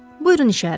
Buyurun işarə.